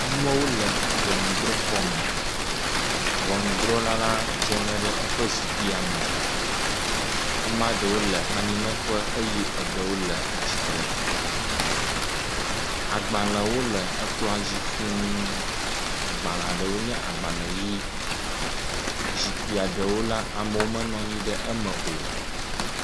Amewo le ʋɔnudrɔxɔme ʋɔnudrɔla la dzeŋe ɖe eƒe zikpia me ameaɖewo le anyinɔƒe eye eɖewo le atsitre agbalewo le ekplɔa dzi fūu agbaleaɖewo nye agbale yi zikpia eɖewo la amewo menɔnyi ɖe eme o